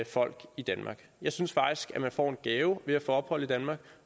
folk i danmark jeg synes faktisk at man får en gave ved at få ophold i danmark